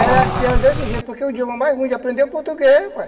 Era assim, era desse jeito, porque o idioma mais ruim de aprender é o português, rapaz.